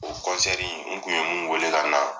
O kɔnsɛri n kun ye mun wele ka na